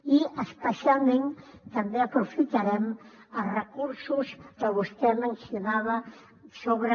i especialment també aprofitarem els recursos que vostè mencionava sobre